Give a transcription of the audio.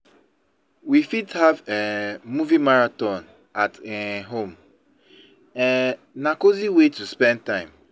We fit have um movie marathon at um home; um na cozy way to spend time.